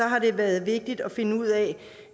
har det været vigtigt at finde ud af